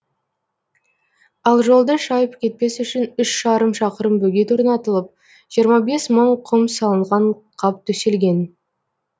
ал жолды шайып кетпес үшін үш жарым шақырым бөгет орнатылып жиырма бес мың құм салынған қап төселген